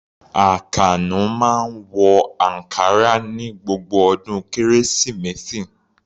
Àkànó máa ń wọ ankara ní gbogbo ọdún Kérésìmesì.